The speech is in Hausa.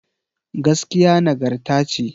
Gaskiya nagarta ce